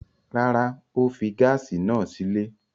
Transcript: Rárá, ó fi gáásì náà sílé.